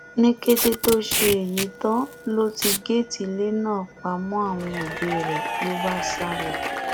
ní kété tó ṣe èyí tán ló ti géètì ilé náà pa mọ àwọn òbí rẹ ló bá sá lọ